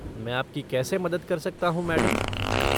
मैं आपकी कैसे मदद कर सकता हूँ मैडम?